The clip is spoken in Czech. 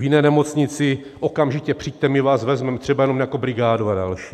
V jiné nemocnici: okamžitě přijďte, my vás vezmeme, třeba jenom jako brigádu a další.